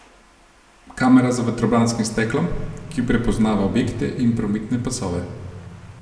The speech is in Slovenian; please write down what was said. Kamera za vetrobranskim steklom, ki prepoznava objekte in prometne pasove.